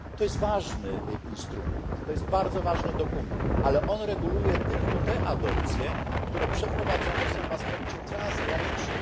To jest ważny instrument, bardzo ważny dokument, ale reguluje on tylko te adopcje, które przeprowadzane są w aspekcie transgranicznym.